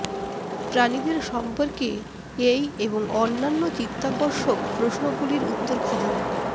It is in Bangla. প্রাণীদের সম্পর্কে এই এবং অন্যান্য চিত্তাকর্ষক প্রশ্নগুলির উত্তর খুঁজুন